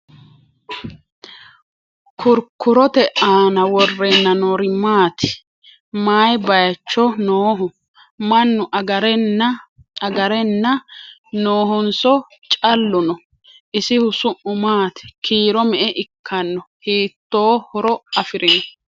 Kurukurotte aanna worrenna noori maatti? Mayi bayiichcho nooho? Mannu agare nna noohonso callu no?isihu su'mu maatti? Kiiro me'e ikkanno? Hiitto horo afirinno?